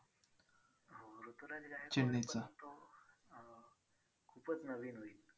परंतु अं खूपच नवीन होईल.